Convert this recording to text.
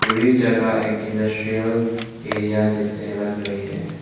ई जगह एक industrial area जैसे लग रही है।